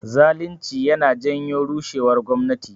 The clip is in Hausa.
Zalinci yana janyo rushewar gwamnati